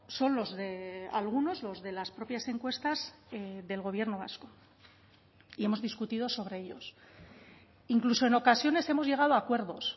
son los de algunos los de las propias encuestas del gobierno vasco y hemos discutido sobre ellos incluso en ocasiones hemos llegado a acuerdos